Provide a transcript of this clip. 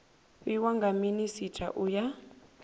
fhiwa nga minisita u ya